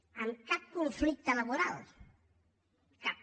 amb cap conflicte laboral cap